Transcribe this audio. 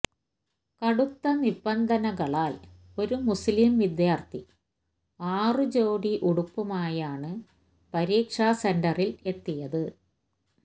കടുത്ത നിബന്ധനകളാല് ഒരു മുസ്ലിം വിദ്യാര്ഥി ആറു ജോടി ഉടുപ്പുമായാണ് പരീക്ഷാസെന്ററില് എത്തിയത്